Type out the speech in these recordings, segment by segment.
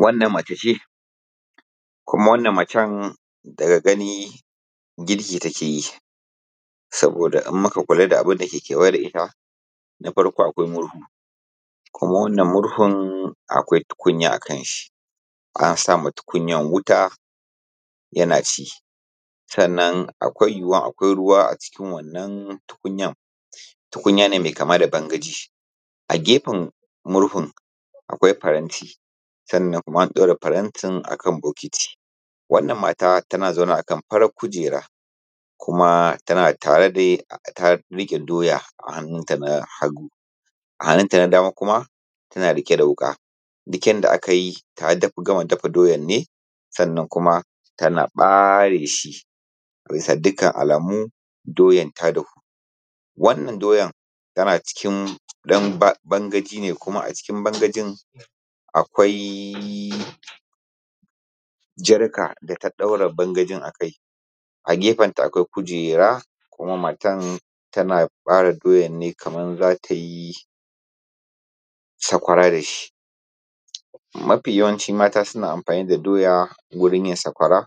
Wanann mece ce kuma wannan macen daga gani girki take yi kuma idan muka lura da abun da yake kewaye da ita na farko akwai hurhun akwai tukunya akan shi, an sa ma tukunyar wuta yana ci sannan akwai yuwuwar akwai ruwa a cikin wannan tukunyan. Tukunya ce mai kama da bangaji, a gefen murhun akwai faranti sannan an ɗaura farantin akan bokati Wannan mara tana zaune ne a kan farar kujera kuma ta rike doya a hannun ta na hangu hannunta na dama yana rike da wuka. Duk yanda aka yi ta gama dafa doya ne sannan kuma tana bare shi, a bisa dukkan alama mu tana bare shi. Wannan doya tana cikin bangaji ne kuma a cikin bangajin akwai jarka da ta ɗaura bangajin a kai. Kujera kuma matana tana bare doyan kamar za ta yi sakwara da shi. Mafi yawanci mata suna amfani da doya wurin yin sakwara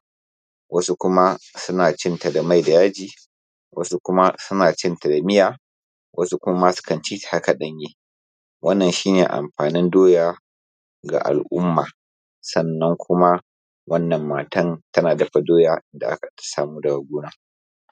wasu kuma suna cinta da mai da yaji, wasu kuma suna cinta da miya, wasu kuma su ci ta haka ɗanye. Wannan shi ne amfanin doya da alumma, sannan kuma wannan matan tana gartsan doya da aka samo daga gona.